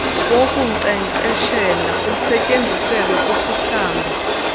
wokunkcenkceshela osetyenziselwa ukuhlamba